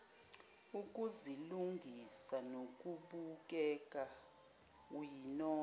ukuzilungisa nokubukeka uyinono